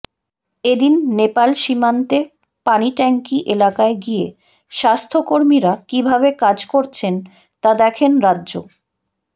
এ দিন নেপাল সীমান্তে পানিট্যাঙ্কি এলাকায় গিয়ে স্বাস্থ্যকর্মীরা কী ভাবে কাজ করছেন তা দেখেন রাজ্য